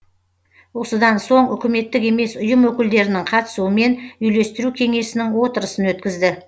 осыдан соң үкіметтік емес ұйым өкілдерінің қатысуымен үйлестіру кеңесінің отырысын өткізді